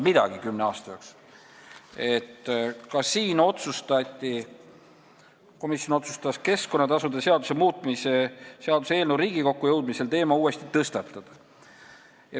Kümne aasta jooksul ei olnud midagi muutunud ja komisjon otsustas keskkonnatasude seaduse muutmise seaduse eelnõu Riigikokku jõudmisel teema uuesti tõstatada.